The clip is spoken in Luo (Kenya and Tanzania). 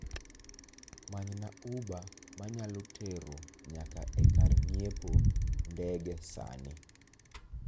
Manyna uber manyalo tero nyaka e kar ng'iepo ndege sani